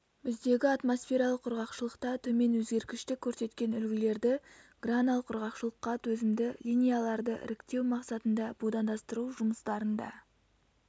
біздегі атмосфералық құрғақшылықта төмен өзгергіштік көрсеткен үлгілерді гранал құрғақшылыққа төзімді линияларды іріктеу мақсатында будандастыру жұмыстарында